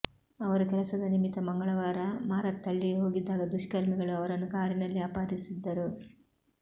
ಅವರು ಕೆಲಸದ ನಿಮಿತ್ತ ಮಂಗಳವಾರ ಮಾರತ್ಹಳ್ಳಿಗೆ ಹೋಗಿದ್ದಾಗ ದುಷ್ಕರ್ಮಿಗಳು ಅವರನ್ನು ಕಾರಿನಲ್ಲಿ ಅಪಹರಿಸಿದ್ದರು